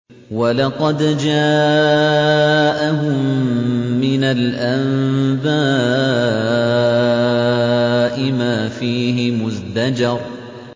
وَلَقَدْ جَاءَهُم مِّنَ الْأَنبَاءِ مَا فِيهِ مُزْدَجَرٌ